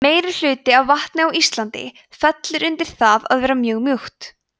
meirihluti af vatni á íslandi fellur undir það að vera mjög mjúkt